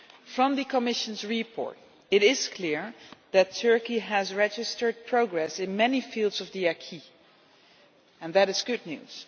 From the Commission's report it is clear that Turkey has registered progress in many fields of the acquis, and that is good news.